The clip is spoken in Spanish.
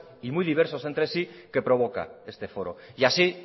y muy diversos entre sí que provoca este foro y así